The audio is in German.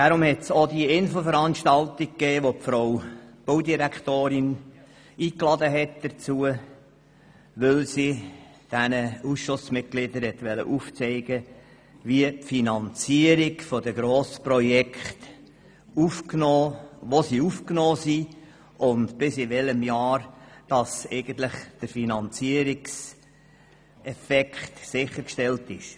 Darum hat es auch diese Infoveranstaltung gegeben, zu der Frau Baudirektorin Egger eingeladen hat, um den jeweiligen Ausschussmitgliedern aufzuzeigen, wo die Finanzierungen der Grossprojekte festgehalten sind und bis zu welchem Jahr die Finanzierung sichergestellt ist.